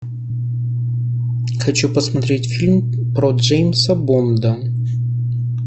хочу посмотреть фильм про джеймса бонда